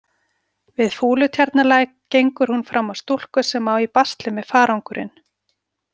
Við Fúlutjarnarlæk gengur hún fram á stúlku sem á í basli með farangurinn.